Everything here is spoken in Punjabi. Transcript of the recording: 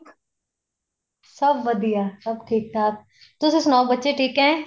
ਸਭ ਵਧੀਆ ਸਭ ਠੀਕ ਠਾਕ ਤੁਸੀਂ ਸੁਨਾਉ ਬੱਚੇ ਠੀਕ ਏ